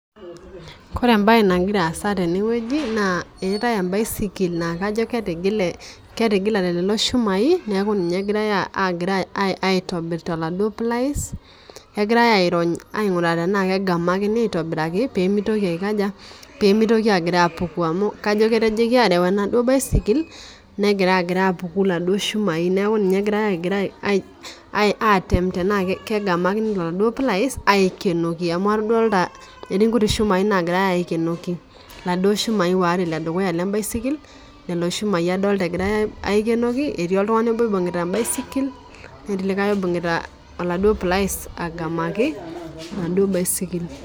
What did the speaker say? Kore ebae nagira aasa teneweji naa , etae ebaisikil naa kajo ketigile ketigilate lelo shumai neeku ninye egirai aitobir too laduo pliers. Egirai airony aing'ura tenaa kegamakini aitobiraki pemitoki aikaja? Pemitoki agira apuku amu kajo ketojoki areu enaduo baisikil negira apiku laduo shumai neeku ninye egirai agira aten tenaa kegamakini too laduo pliers aikenoki amu adolita atii kutik shumai nagirai aikenoki. Laduo shumai ware ledukuya le baisikil, leo shumai adolita egirai aikenoki. Etii iltung'ani oboo oibung'ita ebaisikil neeti likai oibung'ita oladuo pliers agamaki enaduo baisikil.